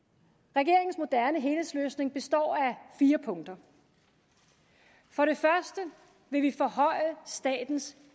regeringens moderne helhedsløsning består af fire punkter for det første vil vi forhøje statens